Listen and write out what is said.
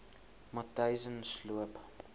matyzensloop